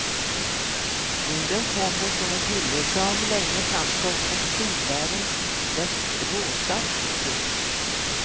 Orden kommer från en kille som länge framstått som skidvärldens mest råstarke. punkt